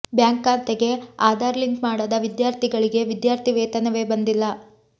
bank ಖಾತೆಗೆ Aadhaar link ಮಾಡದ ವಿದ್ಯಾರ್ಥಿಗಳಿಗೆ ವಿದ್ಯಾರ್ಥಿ ವೇತನವೇ ಬಂದಿಲ್ಲ